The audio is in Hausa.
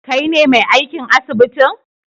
kaine me aikin asibitin?